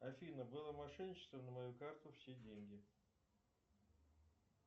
афина было мошенничество на мою карту все деньги